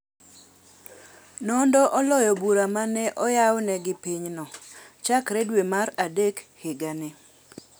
Nondo oloyo bura ma ne oyawne gi pinyno chakre dwe mar adek higa ni.